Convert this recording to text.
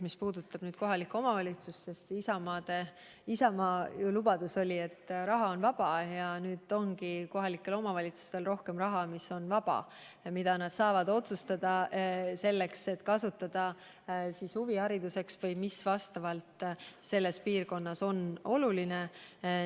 Mis puudutab kohalikku omavalitsust, siis Isamaa lubadus oli, et raha on vaba, ja nüüd ongi kohalikele omavalitsustele ette nähtud rohkem raha, mis on vaba ja mida nad saavad kasutada huvihariduseks või üldse selleks, mis nende piirkonnas on oluline.